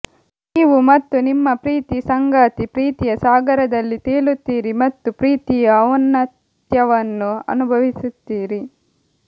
ನೀವು ಮತ್ತು ನಿಮ್ಮ ಪ್ರೀತಿ ಸಂಗಾತಿ ಪ್ರೀತಿಯ ಸಾಗರದಲ್ಲಿ ತೇಲುತ್ತೀರಿ ಮತ್ತು ಪ್ರೀತಿಯ ಔನ್ನತ್ಯವನ್ನು ಅನುಭವಿಸುತ್ತೀರಿ